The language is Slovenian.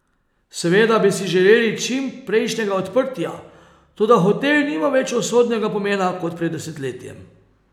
Seveda bi si želeli čim prejšnjega odprtja, toda hotel nima več usodnega pomena kot pred desetletjem.